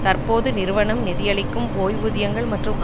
தற்போது நிறுவனம் நிதியளிக்கும் ஓய்வூதியங்கள் மற்றும்